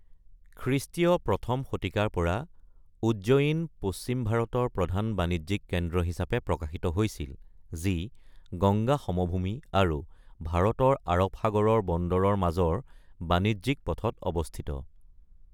খৃষ্টীয় প্ৰথম শতিকাৰ পৰা উজ্জয়িন পশ্চিম ভাৰতৰ প্ৰধান বাণিজ্যিক কেন্দ্ৰ হিচাপে প্ৰকাশিত হৈছিল, যি গংগা সমভূমি আৰু ভাৰতৰ আৰব সাগৰৰ বন্দৰৰ মাজৰ বাণিজ্যিক পথত অৱস্থিত।